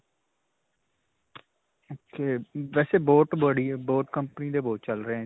ok. ਵੈਸੇ ਬਹੁਤ boat company ਦੇ ਬਹੁਤ ਚੱਲ ਰਹੇ ਹੈ.